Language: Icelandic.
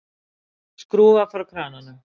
Skrúfar frá krananum.